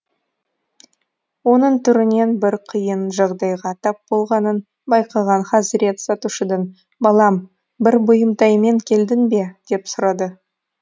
оның түрінен бір қиын жағдайға тап болғанын байқаған хазрет сатушыдан балам бір бұйымтаймен келдің бе деп сұрады